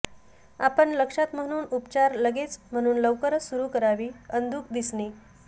आपण लक्षात म्हणून उपचार लगेच म्हणून लवकरच सुरू करावी अंधुक दिसणे